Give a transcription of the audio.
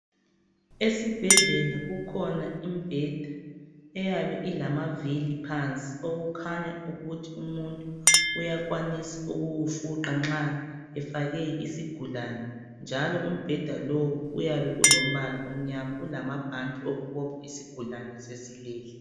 Esibhedlela kukhona imibheda eyabe ilamavili phansi okukhanya ukuthi umuntu uyakwanisa ukuwufuqa nxa efake isigulane njalo umbheda lowo uyabe ulombala omnyama ulamabhanti okubophe isigulane nxa sesilele.